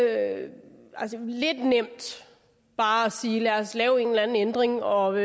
er lidt nemt bare at sige lad os lave en eller anden ændring og